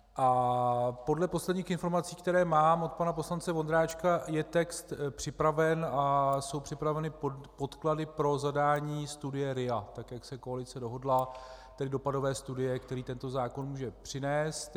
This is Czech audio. Podle posledních informací, které mám od pana poslance Vondráčka, je text připraven a jsou připraveny podklady pro zadání studie RIA, tak jak se koalice dohodla, tak dopadové studie, který tento zákon může přinést.